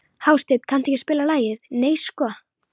Hásteinn, kanntu að spila lagið „Nei sko“?